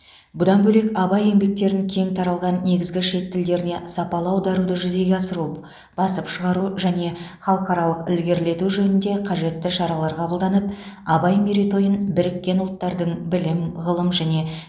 бұдан бөлек абай еңбектерін кең таралған негізгі шет тілдеріне сапалы аударуды жүзеге асыру басып шығару және халықаралық ілгерілету жөнінде қажетті шаралар қабылданып абай мерейтойын біріккен ұлттардың білім ғылым және